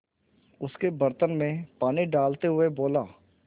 उसके बर्तन में पानी डालते हुए बोला